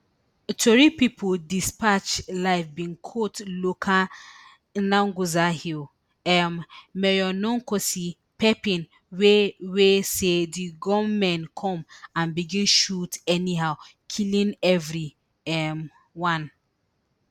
tori pipo dispatch live bin quote local hil um mayor nonkosi pepping wey wey say di gunmen come and begin shoot anyhow killing evri um one